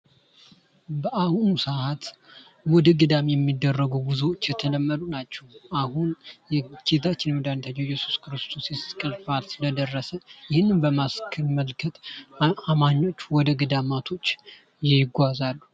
በአሁኑ ሰአት ወደ ገዳም የሚደረጉ ጉዞዎች የተለመዱ ናቸው። አሁን ጌታችን መድኃኒታችን ኢየሱስ ክርስቶስ የተሰቀለበት ስለደረሰ ይህንን በማስመልከት አማኞች ወደ ገዳማቶች ይጓዛል።